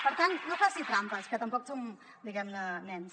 per tant no faci trampes que tampoc som nens